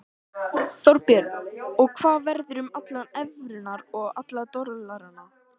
Þorbjörn: Og hvað verður um allar evrurnar og alla dollarana?